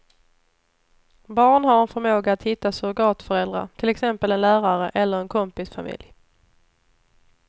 Barn har en förmåga att hitta surrogatföräldrar, till exempel en lärare eller en kompis familj.